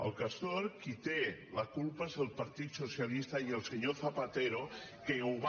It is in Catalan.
del castor qui en té la culpa és el partit socialista i el senyor zapatero que ho va